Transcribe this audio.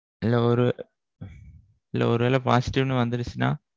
இல்ல ஒரு இல்ல ஒருவேள positive னு வந்திருச்சுனா?